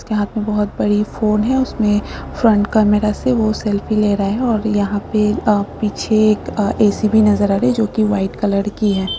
यहाँ पर बहुत बड़ी फ़ोन है उसमे फ्रंट कैमरा से वह सेल्फी ले रहा है और यहाँ पे अ पीछे एक अ ए.सी. भी नजर आ रहा हैं जो की वाइट कलर की है।